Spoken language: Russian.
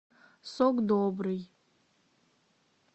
сок добрый